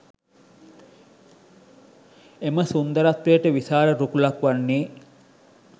එම සුන්දරත්වයට විශාල රුකුලක් වන්නේ